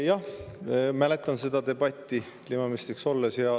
Jah, ma mäletan seda debatti ajast, kui ma kliimaminister olin.